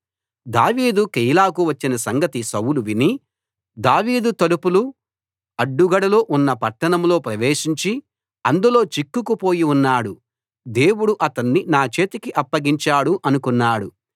దావీదు కెయీలాకు వచ్చిన సంగతి సౌలు విని దావీదు తలుపులూ అడ్డుగడలు ఉన్న పట్టణంలో ప్రవేశించి అందులో చిక్కుకుపోయి ఉన్నాడు దేవుడు అతణ్ణి నా చేతికి అప్పగించాడు అనుకున్నాడు